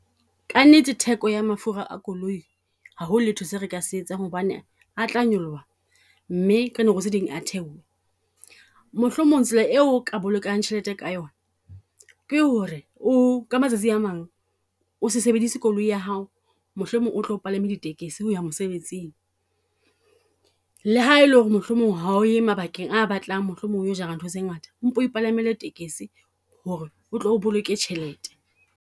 Ka nnete theko ya mafura a koloi ha ho letho se re ka se etsang hobane a tla nyoloha, mme ka nako tse ding a theohe. Mohlomong tsela eo o ka bolokang tjhelete ka yona ke ho re o, ka matsatsi a mang. O se sebedise koloi ya hao, mohlomong o tlo palama ditekisi ho ya mosebetsing. Le ha e le ho re mohlomong ha o ye mabakeng a batlang mohlomong o yo jara ntho tse ngata, o mpo ipalamele tekisi ho re otlo boloke tjhelete.